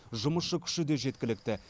жұмысшы күші де жеткілікті